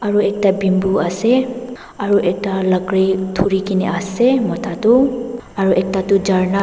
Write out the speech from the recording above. aru ekta bamboo ase aru ekta lakhuri thuri kene ase mota tu aru ekta tu jarna.